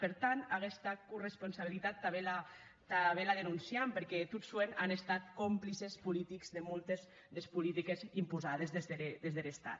per tant aguesta corresponsabilitat tanben la denonciam perque tot soent an estat complices politics de moltes des politiques imposades des der estat